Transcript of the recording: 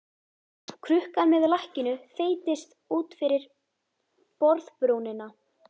Krukkan með lakkinu þeytist út fyrir borðbrúnina.